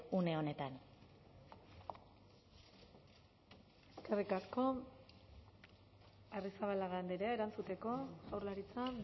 une honetan eskerrik asko arrizabalaga andrea erantzuteko jaurlaritza